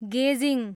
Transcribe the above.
गेजिङ